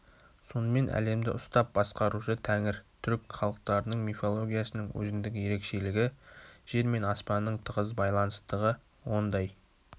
сонымен әлемді ұстап басқарушы тәңір түрік халықтарының мифологиясының өзіндік ерекшелігі жер мен аспанның тығыз байланыстығы ондай